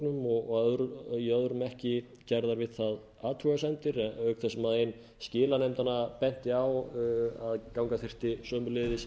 nokkrum umsögnum og í öðrum ekki gerðar við það athugasemdir auk þess sem ein skilanefndanna benti á að ganga þætti sömuleiðis